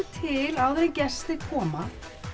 til áður en gestir koma